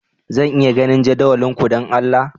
Zan iya ganin jadawalin ku, don Allah?